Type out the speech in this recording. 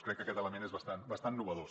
crec que aquest element és bastant innovador